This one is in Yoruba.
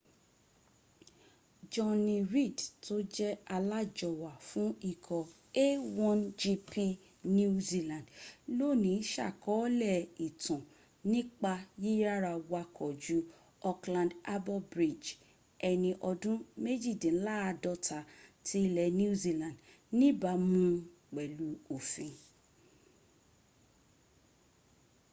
jonny reid tó jẹ́ alájọwà fún ikọ̀ a1gp new zealand lónìí sàkọọ́lẹ̀ ìtàn nípa yíyára wakọ̀ ju auckland harbour bridge ẹni ọdún méjìdínláàdọ́ta ti ilẹ̀ new zealand níbàmún un pẹ̀lú òfin